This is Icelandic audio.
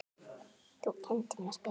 Þú kenndir mér að spila.